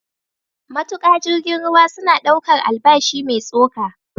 Matuƙa jirgin ruwa suna ɗaukar albashi mai tsoka.